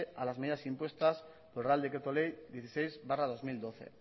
a las medidas impuestas por el real decreto ley dieciséis barra dos mil doce